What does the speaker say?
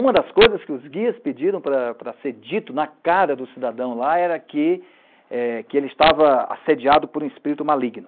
Uma das coisas que os guias pediram para ser dito na cara do cidadão lá era que ele estava assediado por um espírito maligno.